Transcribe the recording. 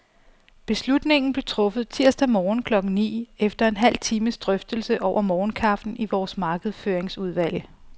Beslutningen blev truffet tirsdag morgen klokken ni, efter en halv times drøftelse over morgenkaffen i vores markedsføringsudvalg.